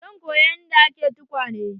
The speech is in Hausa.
Zan koya yanda ake tukwane.